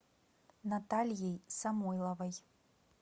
натальей самойловой